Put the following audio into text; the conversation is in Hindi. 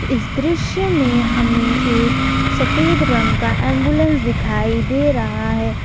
इस दृश्य में हमें एक सफेद रंग का एंबुलेंस दिखाई दे रहा है।